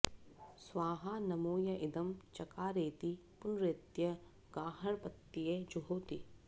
स्वाहा॒ नमो॒ य इ॒दं च॒कारेति॒ पुन॒रेत्य॒ गार्ह॑पत्ये जुहोति